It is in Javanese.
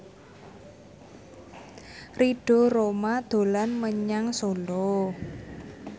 Ridho Roma dolan menyang Solo